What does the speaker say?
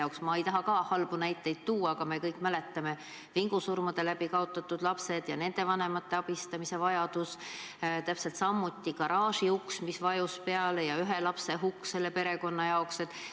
Ma ka ei taha halbu näiteid tuua, aga me kõik mäletame vingusurma tõttu kaotatud lapsi ja nende vanemate abistamise vajadust, täpselt samuti garaažiust, mis vajus ühele lapsele peale ja laps suri.